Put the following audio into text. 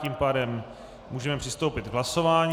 Tím pádem můžeme přistoupit k hlasování.